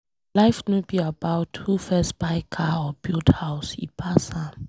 Life no be about who first buy car or build house, e pass am.